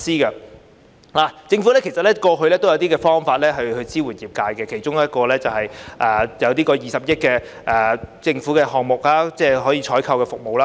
其實政府過去也有推出一些方法支援業界，其中一項是20億元的政府項目，即採購有關的服務。